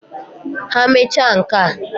Ha mecha nka..